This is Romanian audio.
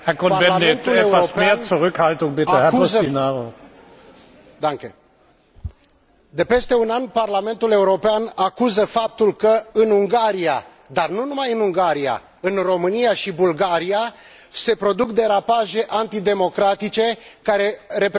De peste un an, Parlamentul European acuză faptul că în Ungaria, dar nu numai în Ungaria, în România și Bulgaria se produc derapaje antidemocratice care reprezintă un conflict deschis cu valorile, cultura și normele juridice europene.